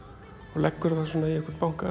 og leggur í einhvern banka